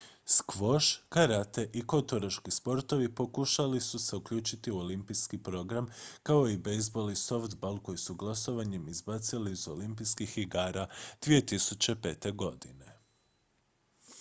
skvoš karate i koturaški sportovi pokušali su se uključiti u olimpijski program kao i bejzbol i softball koje su glasovanjem izbacili iz olimpijskih igara 2005. godine